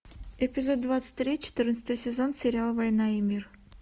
эпизод двадцать три четырнадцатый сезон сериал война и мир